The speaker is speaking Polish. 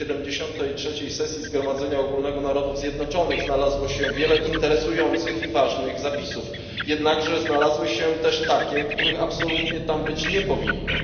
73. sesji Zgromadzenia Ogólnego Narodów Zjednoczonych znalazło się wiele interesujących i ważnych zapisów. Jednak znalazły się też takie, których absolutnie tam być nie powinno.